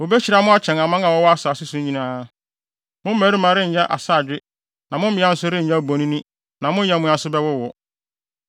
Wobehyira mo akyɛn aman a wɔwɔ asase so no nyinaa. Mo mmarima renyɛ asaadwe na mo mmea nso renyɛ abonin na mo nyɛmmoa nso bɛwowo.